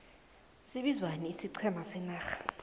sibizwani ixiqhema senarha